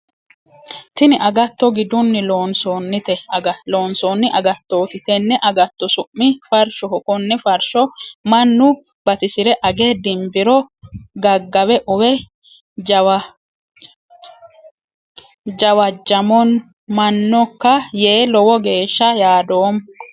Tinni agatto gidunni loonsoonni agattoti. Tenne agatto su'mi farshoho. konne farsho mannu batisire age dimbiro gagawe uwe jawajamanoka yee lowo geesha yaadoomo.